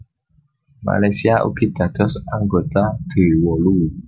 Malaysia ugi dados anggota D wolu